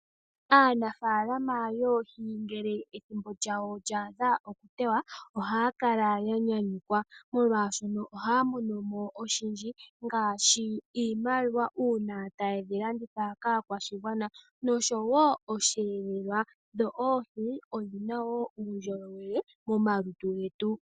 Aanafalama yoohi ngele ethimbo lyawo lya adha okuteya, ohaya kala ya nyanyukwa molwashono ohaya monomo oshindji, ngaashi iimaliwa una taye dhi landitha kaakwashigwana noshowo osheelelwa. Dho oohi odhina wo uundjolowele momalutu getu.